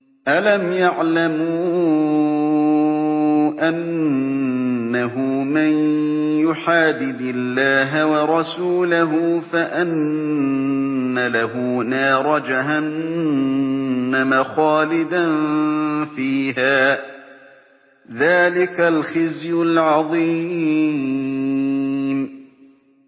أَلَمْ يَعْلَمُوا أَنَّهُ مَن يُحَادِدِ اللَّهَ وَرَسُولَهُ فَأَنَّ لَهُ نَارَ جَهَنَّمَ خَالِدًا فِيهَا ۚ ذَٰلِكَ الْخِزْيُ الْعَظِيمُ